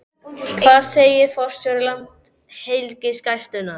Hvað segir forstjóri Landhelgisgæslunnar?